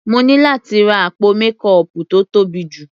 Mo ní láti ra àpò mékọọpù tó tóbi jù.